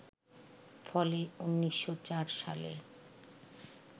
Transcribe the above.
ফলে ১৯০৪ সালে